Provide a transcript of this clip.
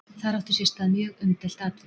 Þar átti sér stað mjög umdeilt atvik.